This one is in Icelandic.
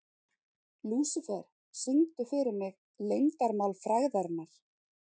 Lúsifer, syngdu fyrir mig „Leyndarmál frægðarinnar“.